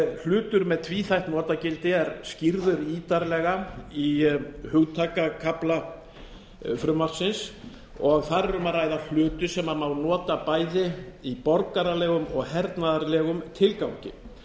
hlutur með tvíþætt notagildi er skýrður ítarlega í hugtakakafla frumvarpsins og þar er um að ræða hluti sem má nota bæði í borgaralegum og hernaðarlegum tilgangi